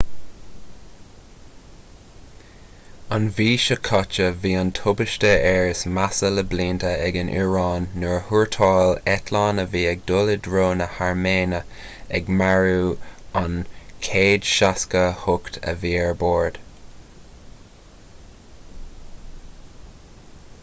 an mhí seo caite bhí an tubaiste aeir is measa le blianta ag an iaráin nuair a thuairteáil eitleán a bhí ag dul i dtreo na hairméine ag marú an 168 a bhí ar bord